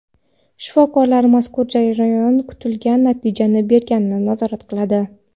Shifokorlar mazkur jarayon kutilgan natijani berganini nazorat qiladi.